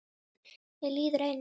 Mér líður eins.